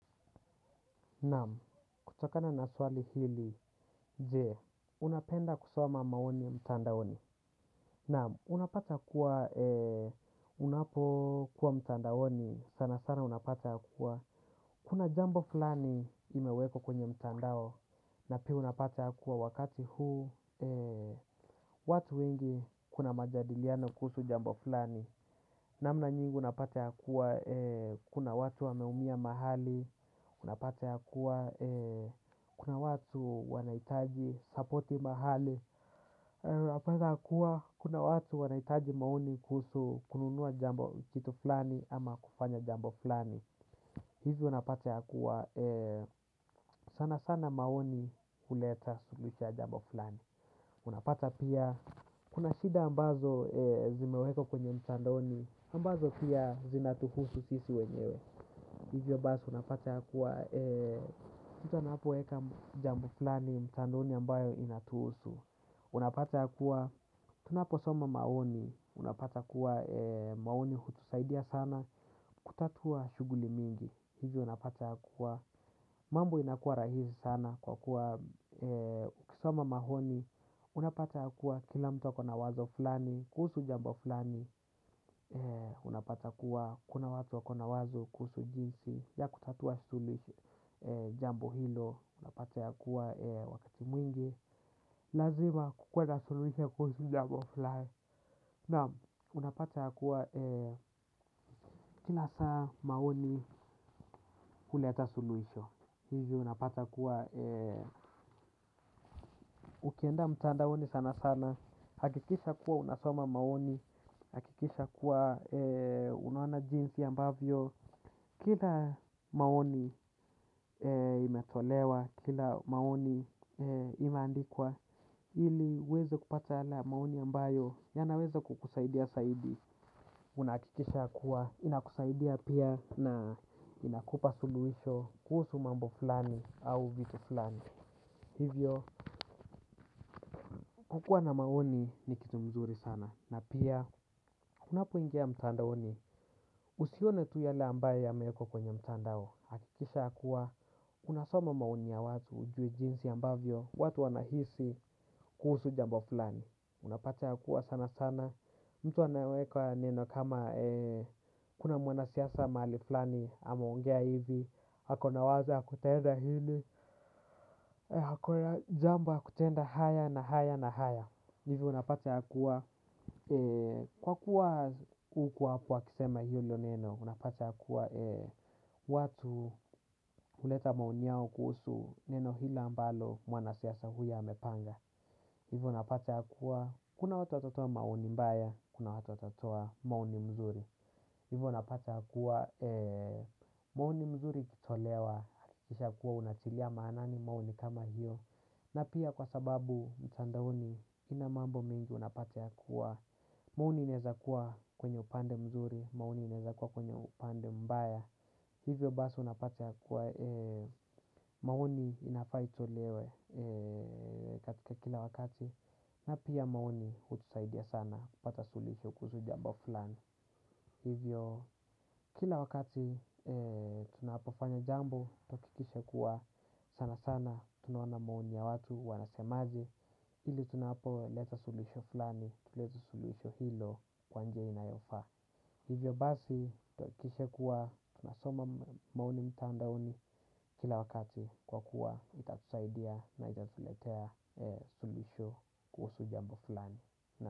Naam, kutokana na swali hili, jee, unapenda kusoma maoni mtandaoni. Naam, unapata kuwa, unapokuwa mtandaoni, sana sana unapata kuwa. Kuna jambo fulani imewekwa kwenye mtandao, na pia unapata kuwa wakati huu, watu wengi kuna majadiliano kuhusu jambo fulani. Namna nyingi unapata ya kuwa, kuna watu wameumia mahali, unapata ya kuwa kuna watu wanahitaji sapoti mahali unapata ya kuwa kuna watu wanahitaji maoni kuhusu kununua jambo kitu fulani ama kufanya jambo fulani hizi unapata ya kuwa sana sana maoni huleta suluhisho ya jambo fulani unapata pia kuna shida ambazo zimewekwa kwenye mtandaoni ambazo pia zinatuhusu sisi wenyewe hivyo basi unapata ya kuwa, mtu anapoweka jambo flani, mtandaoni ambayo inatusu. Unapata ya kuwa, tunaposoma maoni, unapata kuwa maoni hutusaidia sana, kutatua shughuli mingi. Hivyo unapata ya kuwa, mambo inakuwa rahisi sana kwa kuwa, ukisoma maoni, unapata ya kuwa kila mtu ako na wazo flani, kuhusu jambo fulani unapata kuwa kuna watu wakona wazo kuhusu jinsi ya kutatua suluhisho jambo hilo unapata ya kuwa wakati mwingi lazima kukuwe na suluhisho kuhusu jambo fulani naam unapata ya kuwa kila saa maoni huleta suluhisho hivi unapata kuwa ukienda mtandaoni sana sana hakikisha kuwa unasoma maoni hakikisha kuwa unaona jinsi ambavyo kila maoni imetolewa kila maoni imeandikwa ili uweze kupata yale maoni ambayo yanaweza kukusaidia zaidi. Unahakikisha kuwa inakusaidia pia na inakupa suluhisho kuhusu mambo fulani au vitu fulani. Hivyo, kukua na maoni ni kitu mzuri sana. Na pia, unapoingia ya mtandaoni, usione tu yale ambayo yameekwa kwenye mtandao. Hakikisha ya kuwa, unasoma maoni ya watu ujue jinsi ambavyo, watu wanahisi kuhusu jambo fulani. Unapata ya kuwa sana sana mtu anaweka neno kama kuna mwanasiasa mahali fulani, ameongea hivi, ako na wazo ya kutenda hili, ako ya jambo ya kutenda haya na haya na haya. Hivi unapata ya kuwa, kwa kuwa hukuwa hapo akisema hilo neno, unapata ya kuwa watu huleta maoni yao kuhusu neno hilo ambalo mwanasiasa huyo amepanga. Hivyo unapata ya kuwa, kuna watu watatoa maoni mbaya, kuna watu watatoa maoni mzuri hivyo unapata ya kuwa, maoni mzuri ikitolewa, hakikisha kuwa unatilia maanani maoni kama hiyo na pia kwa sababu mtandaoni, ina mambo mingi unapata ya kuwa maoni inaeza kuwa kwenye upande mzuri, maoni inaeza kuwa kwenye upande mbaya hivyo basi unapata ya kuwa, maoni inafaa itolewe katika kila wakati na pia maoni hutusaidia sana kupata suluhisho kuhusu jambo fulani hivyo kila wakati tunapofanya jambo tuhakikishe kuwa sana sana tunaona maoni ya watu wanasemaje ili tunapoleta suluhisho fulani tulete suluhisho hilo kwa njia inayofaa hivyo basi tuhakikishe kuwa tunasoma maoni mtandaoni kila wakati kwa kuwa itatusaidia na itatuletea suluhisho kuhusu jambo fulani.